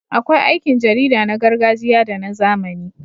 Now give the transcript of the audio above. Akwai aikin jarida na gargajiya da na zamani.